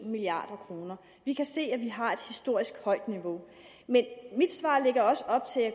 milliard kroner vi kan se at vi har et historisk højt niveau men mit svar lægger også op til at